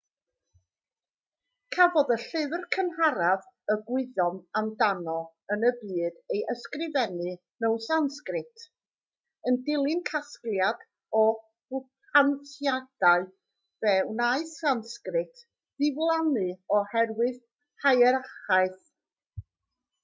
cafodd y llyfr cynharaf y gwyddom amdano yn y byd ei ysgrifennu mewn sansgrit yn dilyn casgliad o wpanisiadau fe wnaeth sansgrit ddiflannu oherwydd hierarchaeth